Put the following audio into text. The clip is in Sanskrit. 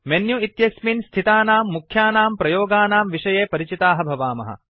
मेनु इत्यस्मिन् स्थितानां मुख्यानां प्रयोगानां विषये परिचिताः भवामः